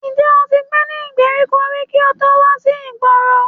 Ṣé o ti gbé ní ìgbèríko rí kí o tó wà sí ìgboro?